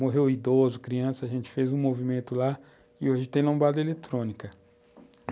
Morreu um idoso, criança, a gente fez um movimento lá e hoje tem lombada eletrônica.